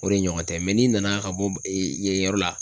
O de ɲɔgɔn tɛ n'i nana ka bɔ yen yɔrɔ la.